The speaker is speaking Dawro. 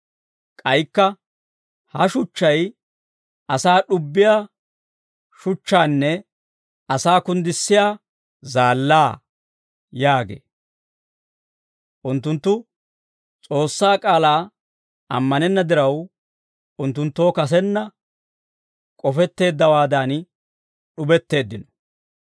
K'aykka, «Ha shuchchay asaa d'ubbiyaa shuchchaanne asaa kunddissiyaa zaallaa» yaagee; unttunttu S'oossaa k'aalaa ammanenna diraw, unttunttoo kasenna k'ofetteeddawaadan d'ubetteeddino.